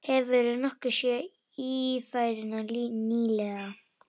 Hefurðu nokkuð séð Ífæruna nýlega?